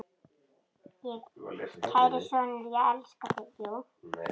Kæri sonur, ég elska þig.